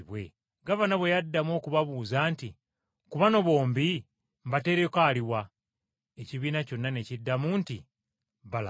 Gavana bwe yaddamu okubabuuza nti, “Ku bano bombi mbateereko aluwa?” Ekibiina kyonna ne kiddamu nti, “Balaba!”